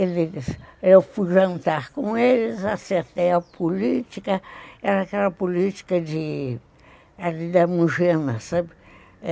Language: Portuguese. Eu fui jantar com eles, acertei a política, era aquela política de... era de Demogênese, sabe?